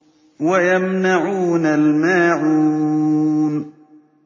وَيَمْنَعُونَ الْمَاعُونَ